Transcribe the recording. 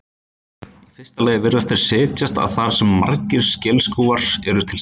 Í fyrsta lagi virðast þeir setjast að þar sem margir skelskúfar eru til staðar.